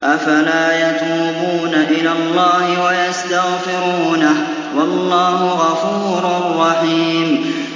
أَفَلَا يَتُوبُونَ إِلَى اللَّهِ وَيَسْتَغْفِرُونَهُ ۚ وَاللَّهُ غَفُورٌ رَّحِيمٌ